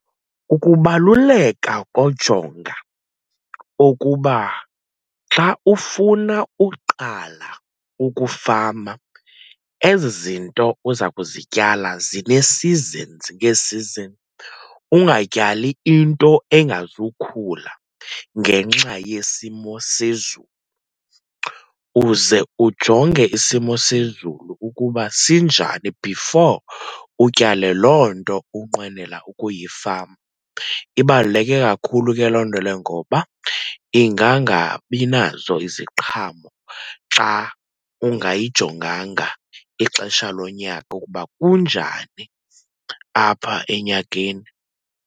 Ukubaluleka kojonga ukuba xa ufuna uqala ukufama ezi zinto uza kuzityala zine-seasons ngee-season. Ungatyali into engazukhula ngenxa yesimo sezulu. Uze ujonge isimo sezulu ukuba sinjani before utyale loo nto unqwenela ukuyifama. Ibaluleke kakhulu ke loo nto leyo, ngoba ingangabi nazo iziqhamo xa ungayijonganga ixesha lonyaka ukuba kunjani apha enyakeni.